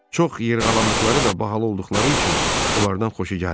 Çox yırğalandıqları və bahalı olduqları üçün onlardan xoşu gəlmir.